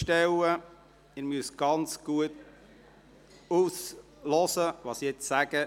Sie müssen sehr gut zuhören, was ich nun sage.